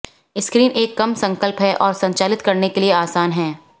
screen एक कम संकल्प है और संचालित करने के लिए आसान है